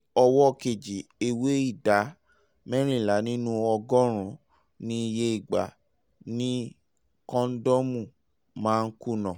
ní ọwọ́ kejì ẹ̀wẹ̀ ìdá mẹ́rìnlá nínú ọgọ́rùn-ún ni iye ìgbà ni kọ́ńdọ́ọ̀mù máa ń kùnà